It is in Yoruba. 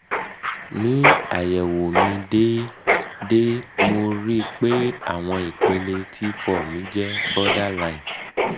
ni ayẹwo mi deede mo ri i pe awọn ipele t four mi je borderline